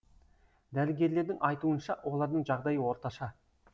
дәрігерлердің айтуынша олардың жағдайы орташа